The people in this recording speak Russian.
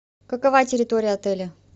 какова территория отеля